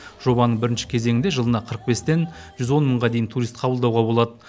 жобаның бірінші кезеңінде жылына қырық бестен жүз он мыңға дейін турист қабылдауға болады